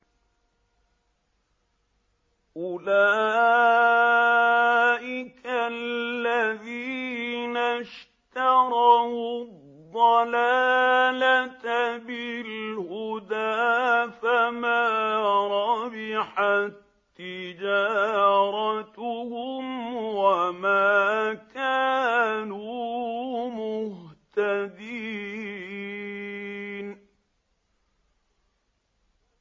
أُولَٰئِكَ الَّذِينَ اشْتَرَوُا الضَّلَالَةَ بِالْهُدَىٰ فَمَا رَبِحَت تِّجَارَتُهُمْ وَمَا كَانُوا مُهْتَدِينَ